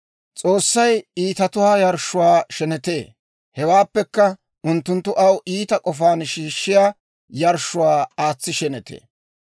S'oossay iitatuwaa yarshshuwaa shenetee; hewaappekka unttunttu aw iita k'ofaan shiishshiyaa yarshshuwaa aatsi shenetee.